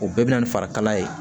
O bɛɛ bɛ na ni farikalaya ye